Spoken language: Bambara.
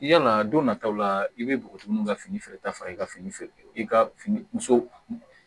Yala don nataw la i bɛ npogotigininw ka fini ta fara i ka fini feere i ka muso